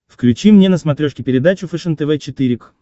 включи мне на смотрешке передачу фэшен тв четыре к